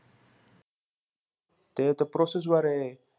ते तर process वरे.